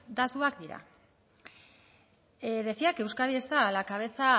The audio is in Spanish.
datuak dira decía que euskadi está a la cabeza